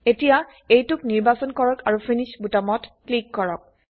এতিয়া এইটোক নিৰ্বাচন কৰক আৰু ফিনিশ বোতামত ক্লিক কৰক